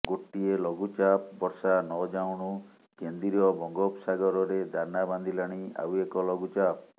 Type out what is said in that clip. ଗୋଟିଏ ଲଘୁଚାପ ବର୍ଷା ନଯାଉଣୁ କେନ୍ଦ୍ରୀୟ ବଙ୍ଗୋପସାଗରରେ ଦାନା ବାନ୍ଧିଲାଣି ଆଉ ଏକ ଲଘୁଚାପ